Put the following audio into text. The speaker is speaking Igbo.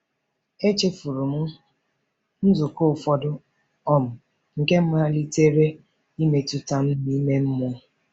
Echefuru m nzukọ ụfọdụ, um nke malitere imetụta m n’ime mmụọ.